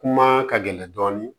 Kuma ka gɛlɛn dɔɔni